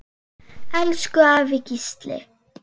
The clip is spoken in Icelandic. Elsku afi Gísli.